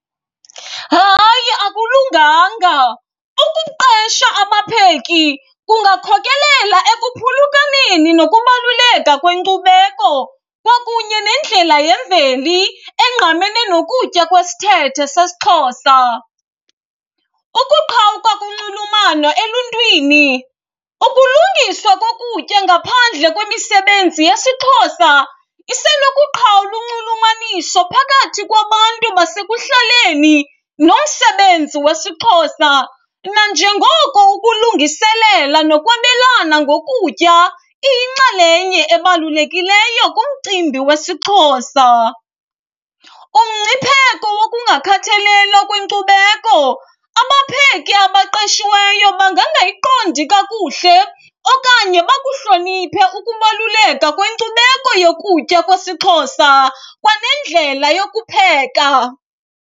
Hayi, akulunganga. Ukuqesha abapheki kungakhokelela ekuphulukaneni nokubaluleka kwenkcubeko kwakunye nendlela yemveli engqamene nokutya kwesithethe sesiXhosa. Ukuqhawuka kunxulumano eluntwini, ukulungiswa kokutya ngaphandle kwemisebenzi yesiXhosa isenokuqhawula unxulumaniso phakathi kwabantu basekuhlaleni nomsebenzi wesiXhosa nanjengoko ukulungiselela nokwabelana ngokutya iyinxalenye ebalulekileyo kumcimbi wesiXhosa. Umngcipheko wokungakhathalelwa kwenkcubeko, abapheki abaqeshiweyo bangangayiqondi kakuhle okanye bakuhloniphe ukubaluleka kwenkcubeko yokutya kwesiXhosa kwanendlela yokupheka.